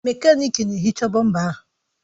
Mekaniki na-ehicha bọmpa ahụ.